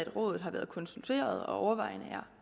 rådet har været konsulteret og overvejende er